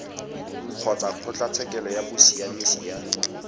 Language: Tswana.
kgotsa kgotlatshekelo ya bosiamisi ya